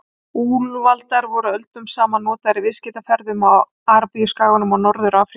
Úlfaldar voru öldum saman notaðir í viðskiptaferðum á Arabíuskaganum og Norður-Afríku.